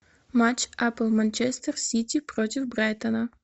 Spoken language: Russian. матч апл манчестер сити против брайтона